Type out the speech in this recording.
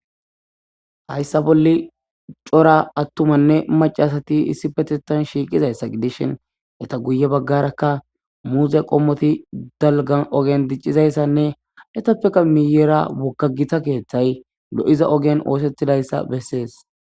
Hayssa bolle cora attumanne macasati issi petetan shiiqizayssa gidishin eta guye baggarakka muuze qommoti dalgan ogen diccizayssanne etappeka miyera woggagita keeththay lo7iza ogen oosetidayssa bessees.